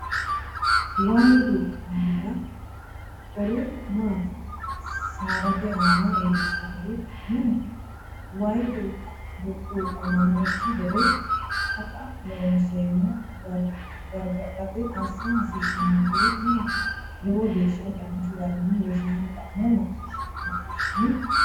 Way burquuqamara koru maati? saadate aana iillishshanori no? Way burquuqamannokki gede Taqa Loonseemmo gargadhate assa hasiisanonkeri maati? Lowo geeshsha danchu garinni Rosaano xa’mo maacciishshitini?